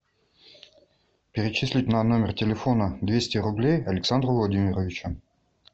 перечислить на номер телефона двести рублей александру владимировичу